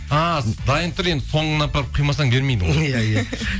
а дайын тұр енді соңын апарып құймасаң бермейді ғой